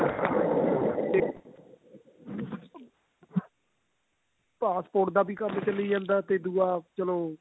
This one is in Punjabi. passport ਦਾ ਵੀ ਕੰਮ ਛਲੀ ਜਾਂਦਾ ਤੇ ਦੁਆ ਚਲੋ